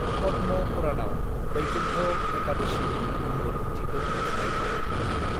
पद्म पुराणआव वैकुंठ एकादशीनि गुमुर ओंथिखौ मुंख'नाय दं।